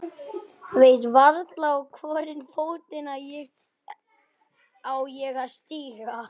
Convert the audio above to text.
Veit varla í hvorn fótinn ég á að stíga.